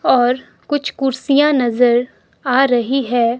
और कुछ कुर्सियां नजर आ रही है।